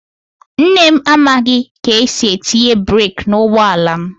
Nne m amaghị ka esi etinye breek n'ụgbọ ala m.